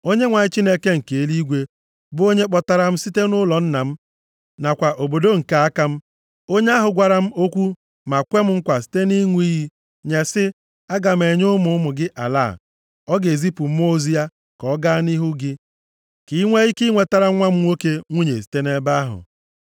Onyenwe anyị, Chineke nke eluigwe, bụ onye kpọpụtara m site nʼụlọ nna m nakwa obodo nke aka m, onye ahụ gwara m okwu ma kwem nkwa site nʼịṅụ iyi nye sị, ‘Aga m enye ụmụ ụmụ gị ala a.’ Ọ ga-ezipụ mmụọ ozi ya ka ọ gaa nʼihu gị ka i nwee ike inwetara nwa m nwoke nwunye site nʼebe ahụ.